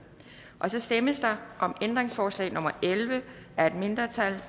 så stemmes der om ændringsforslag nummer elleve af et mindretal